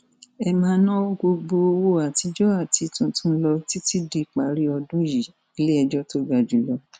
ẹ máa ná gbogbo owó àtijọ àti tuntun lọ títí díparí ọdún yìíiléẹjọ tó ga jù lọ